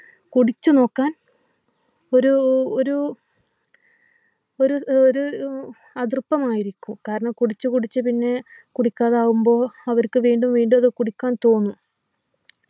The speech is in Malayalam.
കുടിച്ചു നോക്കാൻ ഒരു ഒരു ഒരു ഏർ ഒര ഉം അതൃപ്പമായിരിക്കും കാരണം കുടിച്ചു കുടിച്ചു പിന്നെ കുടിക്കാതാവുമ്പോ അവർക്കു വീണ്ടും വീണ്ടും അത് കുടിക്കാൻ തോന്നും